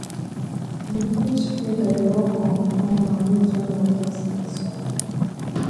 di fish feeder dey work on timer wey join water sensor